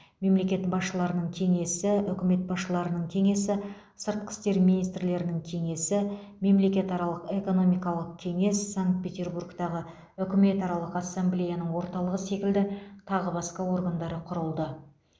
мемлекет басшыларының кеңесі үкімет басшыларының кеңесі сыртқы істер министрлерінің кеңесі мемлекетаралық экономикалық кеңес санкт петербургтағы үкімет аралық ассамблеяның орталығы секілді тағы басқа органдары құрылды